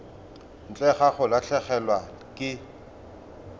ntle ga go latlhegelwa ke